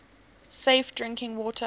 safe drinking water